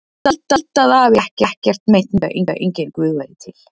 Ég held að afi hafi ekkert meint með því að enginn Guð væri til.